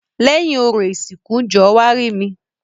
Lẹ́yìn orò ìsìnkú jọ̀ọ́ wá rí mi.